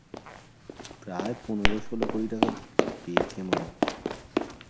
প্রায় পনেরো, ষোলো কোটি টাকা পেয়েছে মনে হয়.